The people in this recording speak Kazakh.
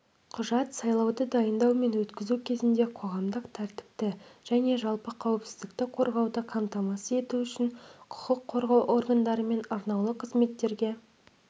құжат сайлауды дайындау мен өткізу кезінде қоғамдық тәртіпті және жалпы қауіпсіздікті қорғауды қамтамасыз ету үшін құқық қорғау органдары мен арнаулы қызметтерге